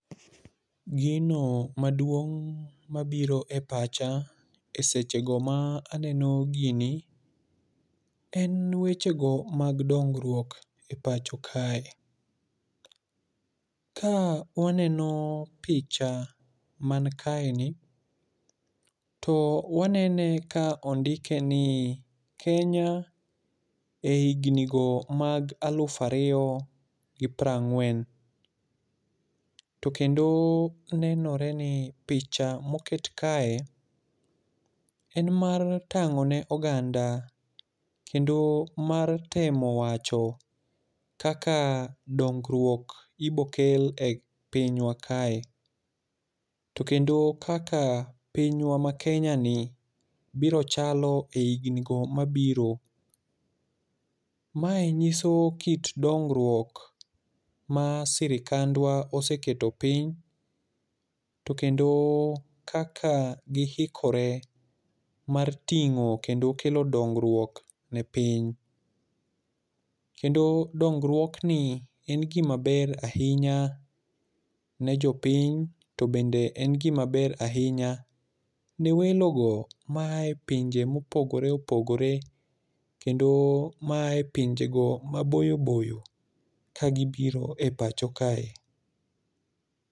Gino maduong' ma biro e pacha e sechego ma aneno gini en weche go mag dongruok e pacho kae. Ka waneno picha mani kae ni, to wanene ka ondike ni, Kenya ei hingni go mag aluf ariyo gi piero ang'wen. To kendo nenore ni picha ma oket kae en mar tang'o ne oganda kendo mar temo wacho kaka dongruok ibo kel e pinywa kae. To kendo kaka pinywa ma Kenya ni biro chalo e higni go mabiro. Mae nyiso kit dongruok ma sirikandwa oseketo piny. To kendo kaka giikore mar ting'o kedo kelo dongruok ne piny. Kendo dongruokni en gima ber ahinya, ne jopiny, to bende en gima ber ahinya ne welo go maae pinje ma opogore opogore. Kendo maae pinje go maboyo boyo ka gibiro e pacho kae.